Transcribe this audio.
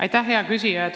Aitäh, hea küsija!